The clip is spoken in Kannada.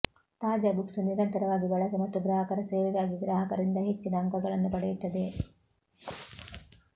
ತಾಜಾ ಬುಕ್ಸ್ ನಿರಂತರವಾಗಿ ಬಳಕೆ ಮತ್ತು ಗ್ರಾಹಕರ ಸೇವೆಗಾಗಿ ಗ್ರಾಹಕರಿಂದ ಹೆಚ್ಚಿನ ಅಂಕಗಳನ್ನು ಪಡೆಯುತ್ತದೆ